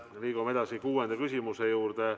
Liigume edasi kuuenda küsimuse juurde.